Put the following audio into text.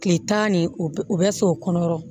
Kile tan nin o bɛ u bɛ s'o kɔnɔ yɔrɔ